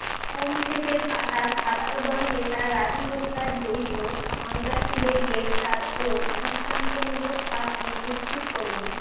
home শেষের পাতা ছাত্রদল নেতা রাজু হত্যায় জড়িত সন্ত্রাসীদের গ্রেফতার ও দৃষ্টান্তমূলক শাস্তি নিশ্চিত করুন